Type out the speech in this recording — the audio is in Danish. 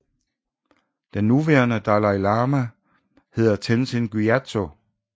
Den nuværende Dalai Lama hedder Tenzin Gyatso